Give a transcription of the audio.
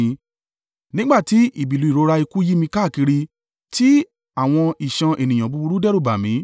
Nígbà tí ìbìlù ìrora ikú yí mi káàkiri; tí àwọn ìṣàn ènìyàn búburú dẹ́rùbà mí.